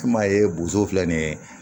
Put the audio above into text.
I m'a ye boso filɛ nin ye